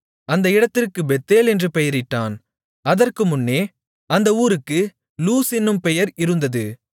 அந்த இடத்திற்குப் பெத்தேல் என்று பெயரிட்டான் அதற்கு முன்னே அந்த ஊருக்கு லூஸ் என்னும் பெயர் இருந்தது